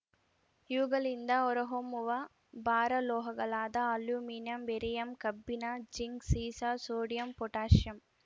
ಇವುಗಳಿಂದ ಹೊರಹೊಮ್ಮುವ ಭಾರ ಲೋಹಗಳಾದ ಅಲ್ಯೂಮಿನಿಯಂ ಬೇರಿಯಂ ಕಬ್ಬಿಣ ಜಿಂಕ್‌ ಸೀಸ ಸೋಡಿಯಂ ಪೊಟ್ಯಾಸಿಯಂ